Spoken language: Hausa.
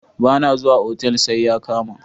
Ba na zuwa otal sai ya kama.